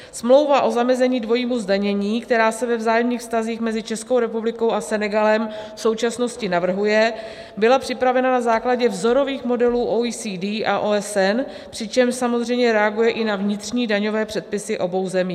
Smlouva o zamezení dvojímu zdanění, která se ve vzájemných vztazích mezi Českou republikou a Senegalem v současnosti navrhuje, byla připravena na základě vzorových modelů OECD a OSN, přičemž samozřejmě reaguje i na vnitřní daňové předpisy obou zemí.